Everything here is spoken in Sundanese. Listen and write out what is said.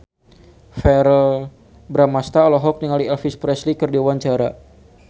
Verrell Bramastra olohok ningali Elvis Presley keur diwawancara